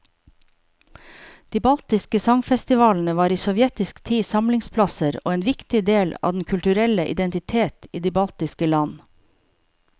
De baltiske sangfestivalene var i sovjetisk tid samlingsplasser og en viktig del av den kulturelle identitet i de baltiske land.